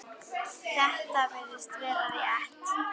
Þetta virðist vera rétt.